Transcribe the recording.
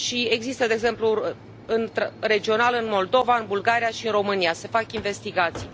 Există, de exemplu, regional în Moldova, în Bulgaria și în România se fac investigații.